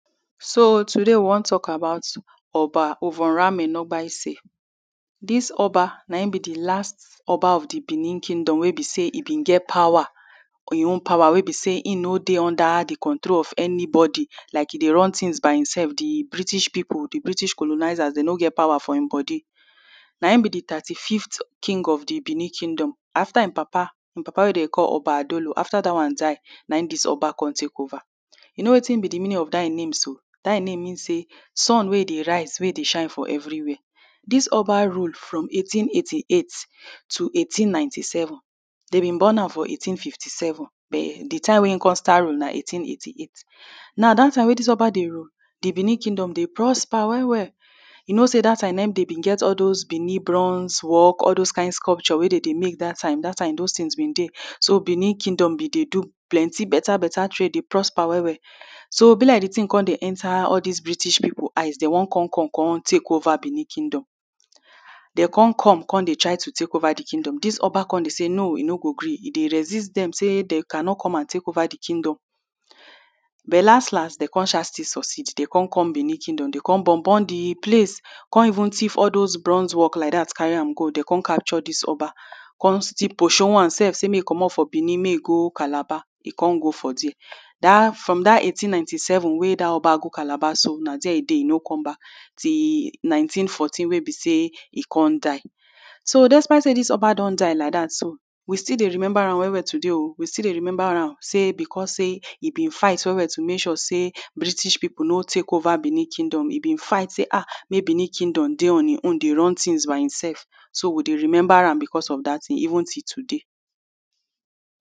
So today we wan talk about Oba. Dis Oba, na im be di last Oba of Benin kingdom wey be say e been get power — im own power wey be say im no dey under di control of anybody. Like e dey run tins by imself. Di, di British people, di British colonizers, dem no get power for im body. Na im be di thirty-fifth king of di Benin kingdom. After im papa, im papa wey dey call Oba Adolo; after dat one die, na im dis one come take over. You know wetin be di meaning of dat im name so? Dat im name mean say, "Sun wey dey rise, wey dey shine for everywhere." Dis Oba rule from eighteen-eighty-eight to eighteen-ninety-seven. Dem been born am for eighteen-fifty-seven, but di time wey im come start rule na eighteen-eighty-eight. Now, dat time wey dis Oba dey rule, di Benin kingdom dey prosper well well. You know say dat time na im dem been get all those work, all those kain sculpture wey dey dey make dat time. Dat time, those tins be dey. So Benin kingdom been dey do plenty better better trade, dey prosper well well. So, e be like di tin come dey enter all dis British people eyes, dem wan come come come take over Benin kingdom. Dem come come, come dey try to take over di kingdom. Dis Oba come dey say, "No, he no go gree". E resist dem say dey cannot come and take over di kingdom, but las las, dem come sha still succeed. Dem come come Benin kingdom, come burn burn di place, c ome even tiff all those bronze work like dat, carry am go. Dem come capture dis Oba, come still pursue am sef from Benin, say make im go go Calabar. Im come go for dia. Dat, from dat eighteen-ninety-seven wey dat Oba go Calabar so, na de e dey, e no come back, till nineteen-fourteen wey be say e come die. So, despite say dis Oba don die like dat so, we still dey remember am well well today o. We still dey remember am, say, because say im be fight well well to make sure say British people no take over Benin kingdom. Im been fight say, "Ah! Make Benin kingdom dey on im own, dey run tins by imself." So, we dey remember am because of dat tin, even till today.